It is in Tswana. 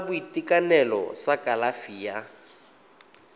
sa boitekanelo sa kalafi ya